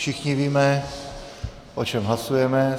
Všichni víme, o čem hlasujeme.